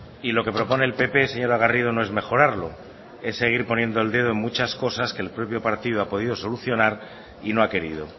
y lo que propone el pp señora garrido no es mejorarlo es seguir poniendo el dedo en muchas cosas que el propio partido ha podido solucionar y no ha querido